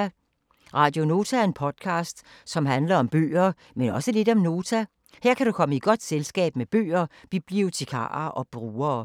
Radio Nota er en podcast, som handler om bøger, men også lidt om Nota. Her kan du komme i godt selskab med bøger, bibliotekarer og brugere.